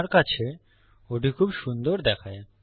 আমার কাছে ওটি খুব সুন্দর দেখায়